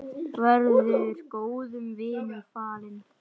Verður góðum vinum falinn.